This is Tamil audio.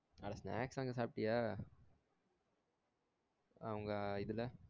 அட snacks வாங்கி சாப்டியா அவங்க இதுல